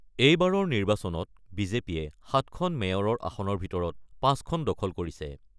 এইবাৰৰ নিৰ্বাচনত বিজেপিয়ে ৭খন মেয়ৰৰ আসনৰ ভিতৰত ৫ খন দখল কৰিছে।